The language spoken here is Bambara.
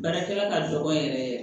Baarakɛla ka dɔgɔn yɛrɛ yɛrɛ